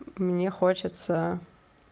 мне хочется